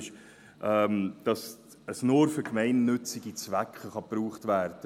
Es kann nur für gemeinnützige Zwecke genutzt werden.